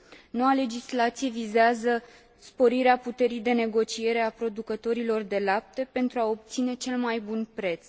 Noua legislație vizează sporirea puterii de negociere a producătorilor de lapte, pentru a obține cel mai bun preț.